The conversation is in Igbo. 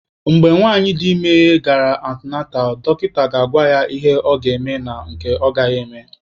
Mgbe nwanyị dị ime gara antịnantal, dọkịta ga-agwa ya ihe ọ ga-eme na nke ọ gaghị eme.